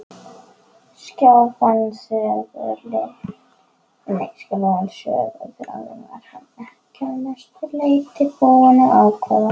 Sjálfan söguþráðinn var hann að mestu leyti búinn að ákveða.